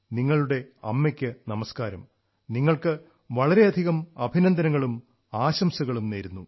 നിങ്ങളുടെ അമ്മക്ക് നമസ്കാരം നിങ്ങൾക്ക് വളരെയധികം അഭിനന്ദനങ്ങളും ആശംസകളും നേരുന്നു